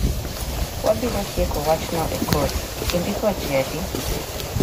Wabiro tieko wachno e kot. Indiko gi ji adi?